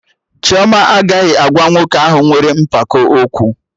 Chioma agaghị agwa nwoke ahụ nwere mpako okwu